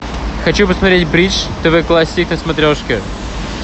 хочу посмотреть бридж тв классик на смотрешке